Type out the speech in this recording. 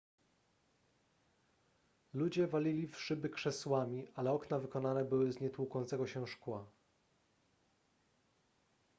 ludzie walili w szyby krzesłami ale okna wykonane były z nietłukącego się szkła